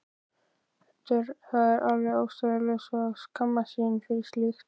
Það er alveg ástæðulaust að skammast sín fyrir slíkt.